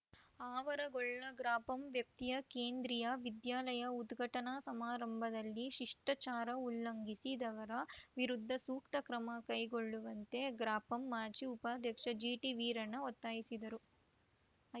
ಆವರಗೊಳ್ಳ ಗ್ರಾಪಂ ವ್ಯಾಪ್ತಿಯ ಕೇಂದ್ರೀಯ ವಿದ್ಯಾಲಯ ಉದ್ಘಾಟನಾ ಸಮಾರಂಭದಲ್ಲಿ ಶಿಷ್ಟಾಚಾರ ಉಲ್ಲಂಘಿಸಿದವರ ವಿರುದ್ಧ ಸೂಕ್ತ ಕ್ರಮ ಕೈಗೊಳ್ಳುವಂತೆ ಗ್ರಾಪಂ ಮಾಜಿ ಉಪಾಧ್ಯಕ್ಷ ಜಿಟಿವೀರಣ್ಣ ಒತ್ತಾಯಿಸಿದರು